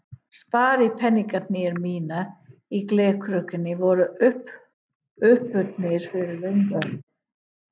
Sparipeningarnir mínir í glerkrukkunni voru uppurnir fyrir löngu.